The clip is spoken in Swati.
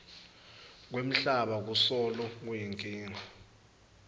kwemhlaba kusolo kuyinkinga